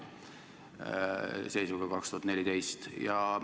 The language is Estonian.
See oli siis seisuga 2014.